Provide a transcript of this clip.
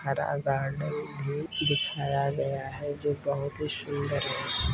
हरा गार्डन भी दिखाया गया है जो बहुत ही सुंदर है।